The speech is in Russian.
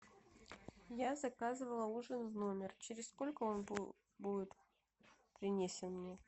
я заказывала ужин в номер через сколько он будет принесен мне